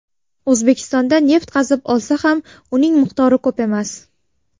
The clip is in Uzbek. O‘zbekistonda neft qazib olsa ham, uning miqdori ko‘p emas.